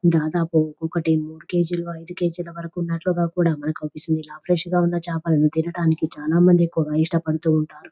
దాదాపు ఒకటి మూడు కే.జీ. లు ఐదు కే.జీ. వరకు ఉన్నట్లుగా కూడా మనకి అవుపిస్తుంది ఇలా ఫ్రెష్ గా ఉన్న చేపలను తినటానికి చాలా మంది కూడా ఇష్టపడుతూ ఉంటారు.